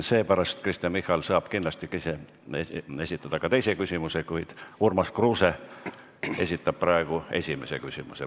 Seepärast Kristen Michal saab kindlasti esitada ka teise küsimuse, kuid Urmas Kruuse esitab praegu esimese küsimuse.